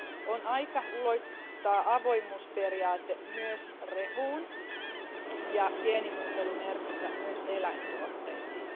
On aika ulottaa avoimuusperiaate myös rehuun ja geenimuuntelumerkintä myös eläintuotteisiin.